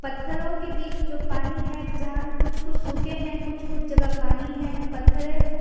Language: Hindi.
पत्थरों के बीच जो पानी है जहां कुछ कुछ सूखे हैं कुछ कुछ जगह पानी है पत्थर हैं।